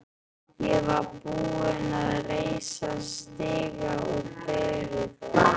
Ég var tilbúinn að reisa stiga úr beinum þeirra.